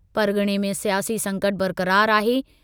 परग॒णे में सियासी संकटु बरक़रारु आहे।